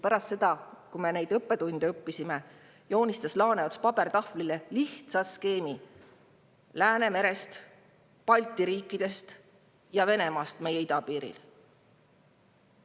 Pärast seda, kui me need õppetunnid olime saanud, joonistas Laaneots pabertahvlile lihtsa skeemi Läänemerest, Balti riikidest ja Venemaast meie idapiiri taga.